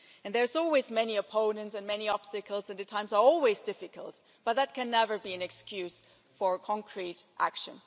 And there are always many opponents and many obstacles and times are always difficult, but that can never be an excuse for concrete action.